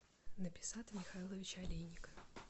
написата михайловича олейника